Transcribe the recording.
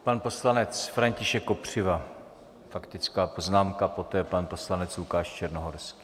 Pan poslanec František Kopřiva, faktická poznámka, poté pan poslanec Lukáš Černohorský.